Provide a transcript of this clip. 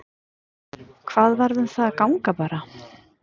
Hvað varð um það að ganga bara?